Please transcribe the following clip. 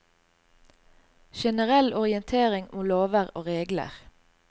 Generell orientering om lover og regler.